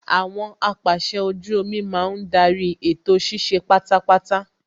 Àwọn apàsẹ ojú omi máa ń darí ètò ṣíṣe pátápátá